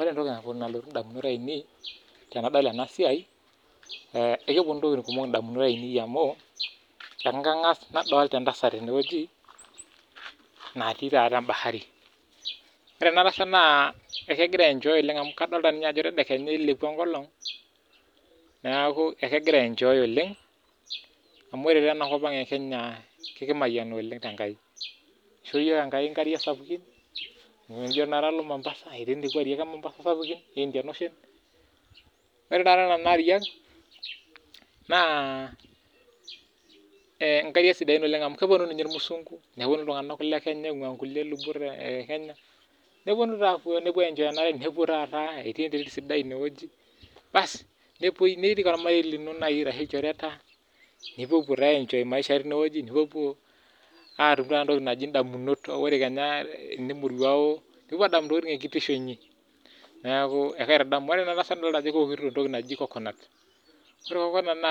Ore entoki nalotu endamunoto ainei tenadol ena siai kepuonu entokitin kumok edamunot ainei amu kangas nadolita entasat tenewueji natii taata bahari ore ena tasat naa ekegirai I enjoy amu kadolita Ajo tedekenya ninye eilepua enkolog neeku ekigera ayenjoy amu ore enakop ang Kenya ekimayiana oleng tenkai eishoo iyiok enkai nkariak sapukin tenijo alo Mombasa etii nekua ariak ee Mombasa sapukin noo Indian ocean ore Kuna ariak naa nkariak sidain oleng amu kepuonu ninye irmuzungu nepuonu iltung'ana lee Kenya oing'ua lubot napasha ee Kenya nepuonu ayenjoy enare etii enterit sidai enewueji nirik ormarei lino ashu ilchoreta nipuopuo taata ayenjoy maisha tenewueji nintau edamunot ore taata teniemuruawu nipuopuo adamu ntokitin ee kitisho enyi neeku ekaitadamu ore ena tasat ekewokito entoki najii coconut ore coconut